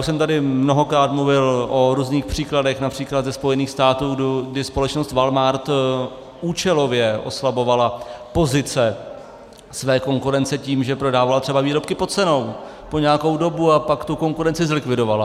Už jsem tady mnohokrát mluvil o různých příkladech, například ze Spojených států, kdy společnost Walmart účelově oslabovala pozice své konkurence tím, že prodávala třeba výrobky pod cenou po nějakou dobu, a pak tu konkurenci zlikvidovala.